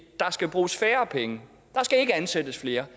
der skal bruges færre penge der skal ikke ansættes flere